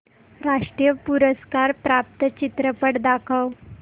राष्ट्रीय पुरस्कार प्राप्त चित्रपट दाखव